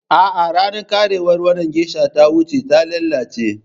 A'a, ranar karewar wannan geisha ta wuce, ta lalace.